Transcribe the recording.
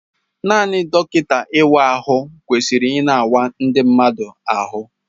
Naanị dọkịta ị wa ahụ kwesịrị ị na awa ndi mmadụ ahụ.